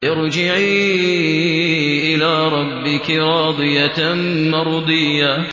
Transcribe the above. ارْجِعِي إِلَىٰ رَبِّكِ رَاضِيَةً مَّرْضِيَّةً